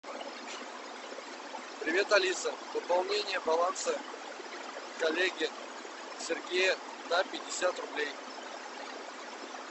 привет алиса пополнение баланса коллеги сергея на пятьдесят рублей